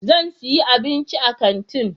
Zan sayi abinci a kantin.